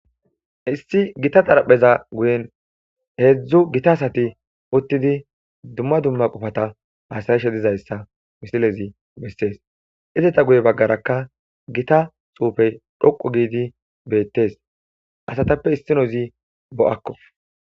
Issi gitta xarapheza guye hezhzhu gitta asati uttidi dumma dumma qofata hasayishe dizaysa issinazi beses izzeta guyeraka gitta tuqe dhoqu gidi bettes asatappe issinozi bo'akko